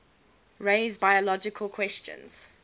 raise biological questions